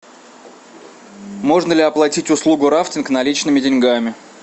можно ли оплатить услугу рафтинг наличными деньгами